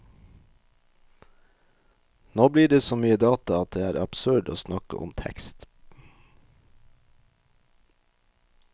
Nå blir det så mye data at det er absurd å snakke om tekst.